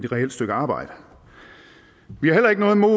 reelt stykke arbejde vi har heller ikke noget imod